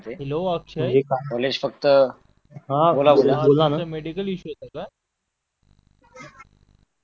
hello Akshay